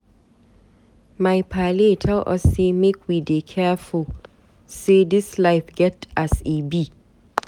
My paale tel us sey make we dey careful say dis life get as e be.